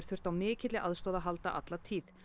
þurft á mikilli aðstoð að halda alla tíð